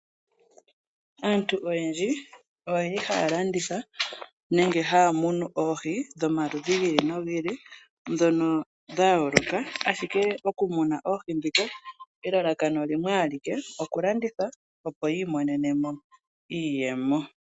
Aantu oyendji ohaya landitha nenge haya munu oohi dhomaludhi gi ili nogi ili ndhono dha yooloka, ashike oku muna oohi ndhika elalakano limwe alike, okulanditha, opo yi imonene mo iiyemo.